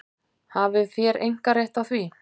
Hafið þér einkarétt á því?